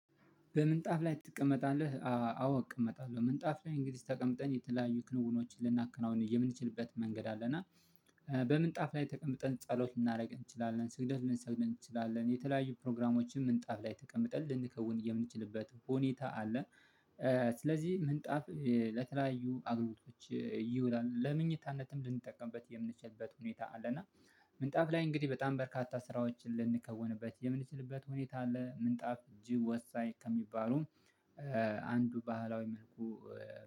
በምንጣፍ ላይ ትቀመጣለህ? አዎ እቀመጣለሁ ምንጣፍ ላይ እንግዲህ ተቀምጠን የተለያዩ ክንውኖችን ልናከናውን የምንችልበት መንገድ አለ። እና በምን ጣፍ ላይ ተቀምጠን ጸሎት ልናደርግ እንችላለን ስግደት ልንሰግድ እንችላለን የተለያዩ ፕሮግራሞችን ምንጣፍ ላይ ተቀምጠን ልንከውን የምንችልበት ሁኔታ አለ። ስለዚህ ምንጣፍ ለተለያዩ አገልግሎቶች ይውላል። ለምኝታነትም ልንጠቀምበት የምንችልበት ሁኔታ አለና። ምንጣፍ ላይ እንግዲህ በጣም በርካታ ስራዎችን ልንከዉንበት የምንችልበት ሁኔታ አለ። ምንጣፍ እጅግ ወሳኝ ከሚባሉ አንዱ ባህላዊ መልኩ